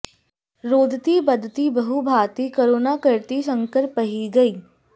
रोदति बदति बहु भाँति करुना करति संकर पहिं गई